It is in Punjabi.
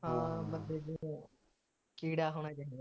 ਹਾਂ ਬੰਦੇ ਦੇ ਕੀੜਾ ਹੋਣਾ ਚਾਹੀਦਾ